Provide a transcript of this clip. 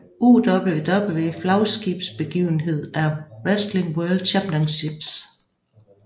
UWW flagskibetsbegivenhed er Wrestling World Championships